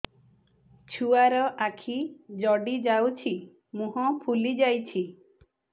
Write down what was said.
ଛୁଆର ଆଖି ଜଡ଼ି ଯାଉଛି ମୁହଁ ଫୁଲି ଯାଇଛି